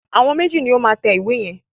Àwọn méjì ni ó máa tẹ ìwé yẹn.